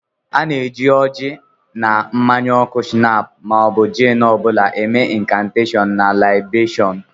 A na-eji oji na mmanya oku shinap ma ọ bụ jin ọ bụla eme inkanteshon na laibeshun.